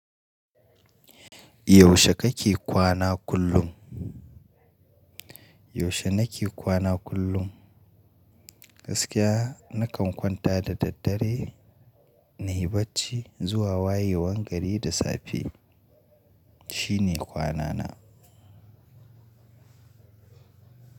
Yaushe kake kwana kullum? Yaushe nake kwana kullum, gaskiya nakan kwanta da daddare na yi bacci zuwa wayewan gari da safe. Shine kwanana.